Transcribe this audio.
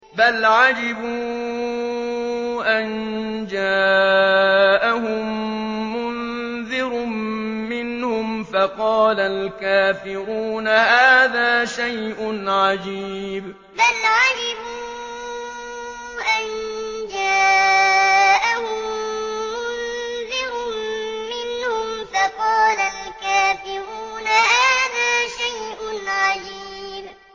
بَلْ عَجِبُوا أَن جَاءَهُم مُّنذِرٌ مِّنْهُمْ فَقَالَ الْكَافِرُونَ هَٰذَا شَيْءٌ عَجِيبٌ بَلْ عَجِبُوا أَن جَاءَهُم مُّنذِرٌ مِّنْهُمْ فَقَالَ الْكَافِرُونَ هَٰذَا شَيْءٌ عَجِيبٌ